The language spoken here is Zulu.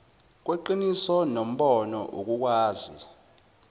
kweqiniso nombono ukukwazi